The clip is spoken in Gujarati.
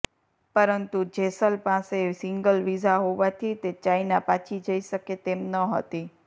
પરંતુ જેસલ પાસે સિંગલ વિઝા હોવાથી તે ચાઇના પાછી જઇ શકે તેમ ન હતી